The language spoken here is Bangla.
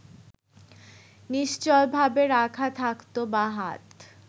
নিশ্চলভাবে রাখা থাকত বাঁ হাত